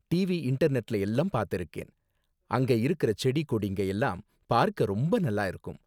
TV, இன்டர்நெட்ல எல்லாம் பாத்திருக்கேன், அங்க இருக்குற செடி கொடிங்க எல்லாம் பார்க்க ரொம்ப நல்லா இருக்கும்.